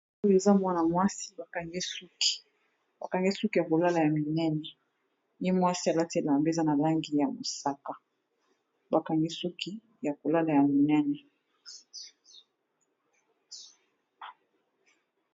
Oyo eza mwana mwasi ba kangi ye suki ya kolala ya minene, ye mwasi alati elamba eza na langi ya mosaka ba kangi suki ya kolala ya minene.